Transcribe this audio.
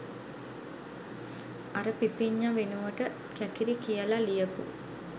අර පිපිඤ්ඤා වෙනුවට කැකිරි කියලා ලියපු